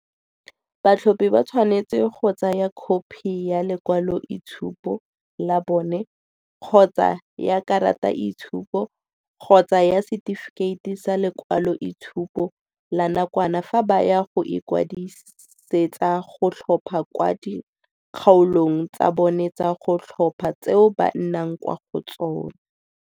Batlhophi ba tshwanetse go tsaya khopi ya lekwa loitshupo la bone kgotsa ya karataitshupo kgotsa ya se tifikheiti sa lekwaloitshupo la nakwana fa ba ya go ikwadisetsa go tlhopha kwa di kgaolong tsa bona tsa go tlhopha tseo ba nnang kwa go tsona.